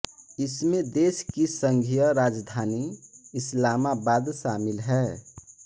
इसमें देश की संघीय राजधानी इस्लामाबाद शामिल है